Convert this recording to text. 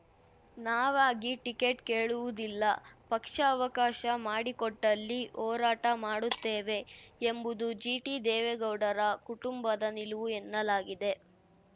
ನಾವಾಗಿ ಟಿಕೆಟ್‌ ಕೇಳುವುದಿಲ್ಲ ಪಕ್ಷ ಅವಕಾಶ ಮಾಡಿಕೊಟ್ಟಲ್ಲಿ ಹೋರಾಟ ಮಾಡುತ್ತೇವೆ ಎಂಬುದು ಜಿಟಿದೇವೇಗೌಡರ ಕುಟುಂಬದ ನಿಲುವು ಎನ್ನಲಾಗಿದೆ